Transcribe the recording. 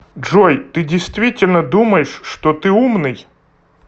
джой ты действительно думаешь что ты умный